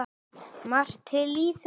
Margt til í þessu.